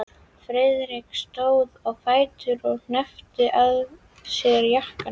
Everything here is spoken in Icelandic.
Friðrik stóð á fætur og hneppti að sér jakkanum.